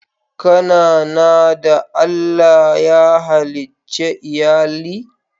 Ka na na da Allah ya halice Iyalli??